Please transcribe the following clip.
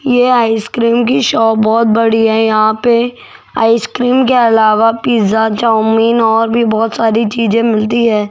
ये आइसक्रीम की शॉप बहोत बड़ी है यहां पे आइसक्रीम के अलावा पिज़्ज़ा चाऊमीन और भी बहोत सारी चीज मिलती है।